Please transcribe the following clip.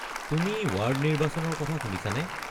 তুমি ৱাৰ্ড নিৰ্বাচনৰ কথা শুনিছানে?